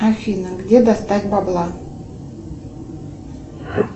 афина где достать бабла